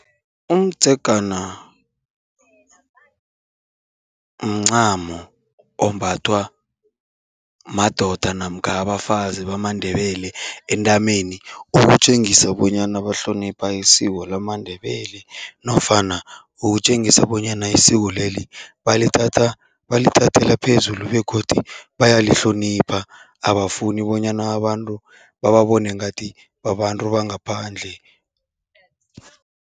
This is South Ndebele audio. Umdzegana mncamo ombathwa madoda namkha abafazi bamaNdebele entameni, ukutjengisa bonyana bahlonipha isiko lamaNdebele nofana ukutjengisa bonyana isiko leli balithatha balithathela phezulu begodu bayalihlonipha, abafuni bonyana abantu bababone ngathi babantu bangaphandle.